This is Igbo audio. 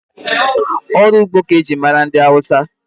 Ọrụ ugbo ka eji mara ndị Hausa.